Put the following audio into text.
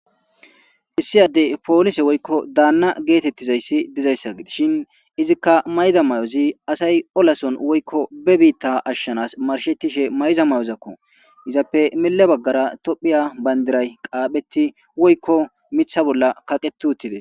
Issiyaddey poolise woykko daanna geetettizayssi dizayssa gides shin izikka mayda may'ozi asay olason woykko bebiitta ashshanas marshetishe mayza may'ozakko izappe mille baggara tophiya bayndiray qaaphetti woykko mitha bolla kaqeti uttides.